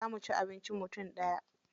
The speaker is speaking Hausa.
Za mu ci abincin mutum ɗaya.